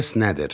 Stress nədir?